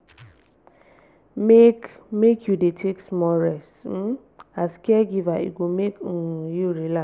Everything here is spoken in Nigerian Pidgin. make make you dey take small rest um as caregiver e go make um you relax.